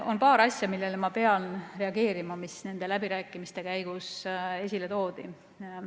On paar asja, millele ma pean reageerima, mis nende läbirääkimiste käigus esile toodi.